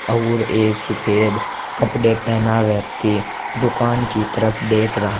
और एक सुफेद कपडे पहना व्यक्ति दुकान की तरफ देख रहा--